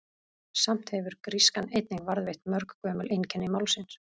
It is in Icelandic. Samt hefur grískan einnig varðveitt mörg gömul einkenni málsins.